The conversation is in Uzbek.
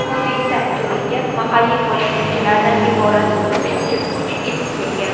Hodisa joyiga mahalliy politsiyachilardan iborat qo‘shimcha kuch yetib kelgan.